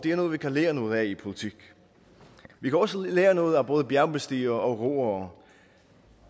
er noget vi kan lære noget af i politik vi kan også lære noget af både bjergbestigere og roere